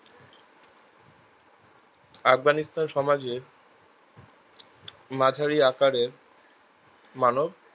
আবগানিস্তান সমাজের মাঝারি আকারের মানব